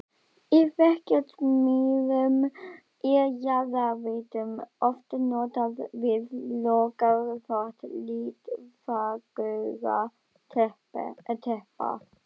Í verksmiðjum er jarðhitavatn oft notað við lokaþvott litfagurra teppa.